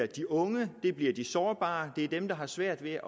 de unge de sårbare dem der har svært ved